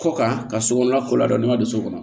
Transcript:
Kɔ kan ka sokɔnɔ ko la dɔn ne ma don so kɔnɔ